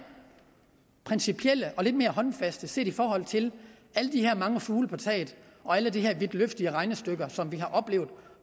principielle og lidt mere håndfaste set i forhold til alle de her mange fugle på taget og alle de her vidtløftige regnestykker som vi har oplevet